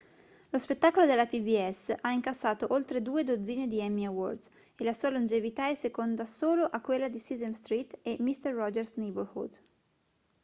lo spettacolo della pbs ha incassato oltre due dozzine di emmy awards e la sua longevità è seconda solo a quella di sesame street e mister rogers' neighborhood